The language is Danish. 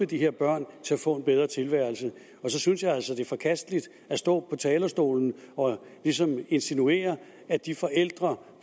de her børn til at få en bedre tilværelse og så synes jeg altså det er forkasteligt at stå på talerstolen og ligesom insinuere at de forældre